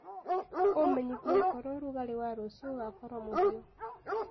umenyĩthĩe okorwo ũrũgarĩ wa rũcĩũ ugakorwo muhiu